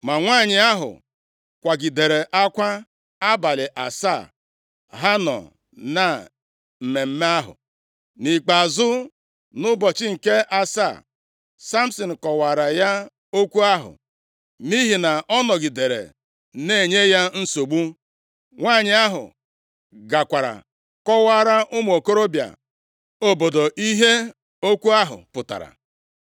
Ma nwanyị ahụ kwagidere akwa abalị asaa ha nọ na mmemme ahụ. Nʼikpeazụ, nʼụbọchị nke asaa, Samsin kọwaara ya okwu ahụ nʼihi na ọ nọgidere na-enye ya nsogbu. Nwanyị ahụ gakwara kọwaara ụmụ okorobịa obodo ihe okwu ahụ pụtara.